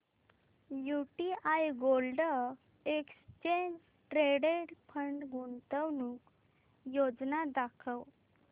UTI gold exchange traded fund गुंतवणूक योजना दाखव